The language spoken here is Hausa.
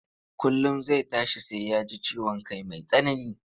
Kullum zai tashi sai ya ji ciwon kai mai tsanani,